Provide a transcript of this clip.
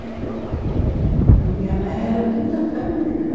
É. A minha mãe era de outra família.